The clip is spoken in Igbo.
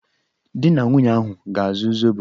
Di na nwunye ahụ ga-azụ zobo.